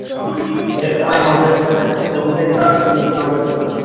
ওদের শালা নজর দোষ আছে প্রদীপ এর বিশেষ করে বেশি নজর দোষ